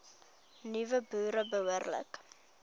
nuwe boere behoorlik